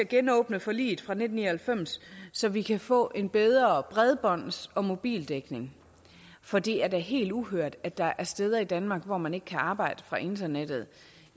genåbne forliget fra nitten ni og halvfems så vi kan få en bedre bredbånds og mobildækning for det er da helt uhørt at der er steder i danmark hvor man ikke kan arbejde fra internettet